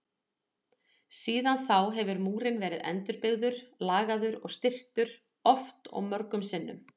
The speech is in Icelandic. Síðan þá hefur múrinn verið endurbyggður, lagaður og styrktur oft og mörgum sinnum.